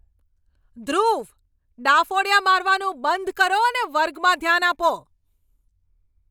ધ્રુવ, ડાફોડીયા મારવાનું બંધ કરો અને વર્ગમાં ધ્યાન આપો!